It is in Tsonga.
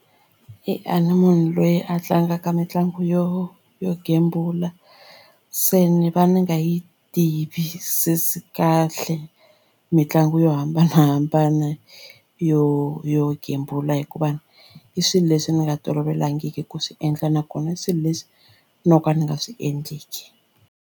A ni munhu loyi a tlangaka mitlangu yo yo gembula se ni va ni nga yi tivisisi kahle mitlangu yo hambanahambana yo yo gembula hikuva i swilo leswi ni nga tolovelangiki ku swi endla nakona swilo leswi no ka ni nga swi endleki.